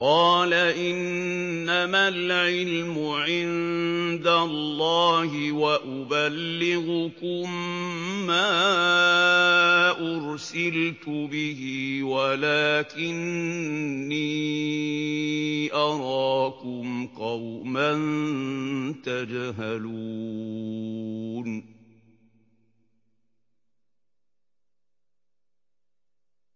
قَالَ إِنَّمَا الْعِلْمُ عِندَ اللَّهِ وَأُبَلِّغُكُم مَّا أُرْسِلْتُ بِهِ وَلَٰكِنِّي أَرَاكُمْ قَوْمًا تَجْهَلُونَ